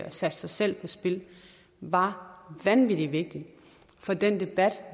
og satte sig selv på spil var vanvittig vigtigt for den debat